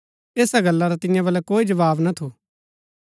ऐसा गल्ला रा तियां बलै कोई जवाव ना थू